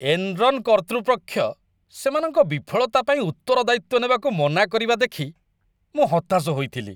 Enron' କର୍ତ୍ତୃପକ୍ଷ ସେମାନଙ୍କ ବିଫଳତା ପାଇଁ ଉତ୍ତରଦାୟିତ୍ୱ ନେବାକୁ ମନା କରିବା ଦେଖି ମୁଁ ହତାଶ ହୋଇଥିଲି।